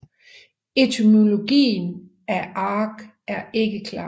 Etymologien af Argeș er ikke klar